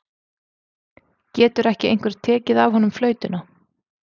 Getur ekki einhver tekið af honum flautuna?